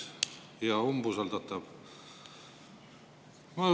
Hea umbusaldatav!